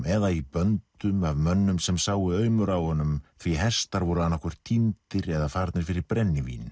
eða í böndum af mönnum sem sáu aumur á honum því hestar voru annað hvort týndir eða farnir fyrir brennivín